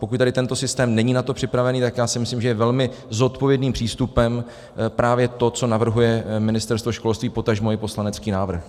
Pokud tady tento systém není na to připravený, tak já si myslím, že je velmi zodpovědným přístupem právě to, co navrhuje Ministerstvo školství, potažmo i poslanecký návrh.